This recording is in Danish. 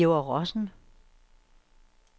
Birger Rossen